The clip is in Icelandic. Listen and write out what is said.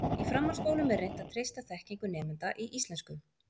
Í framhaldsskólum er reynt að treysta þekkingu nemenda í íslensku.